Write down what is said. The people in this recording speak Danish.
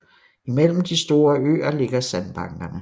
Imellem de store øer ligger sandbankerne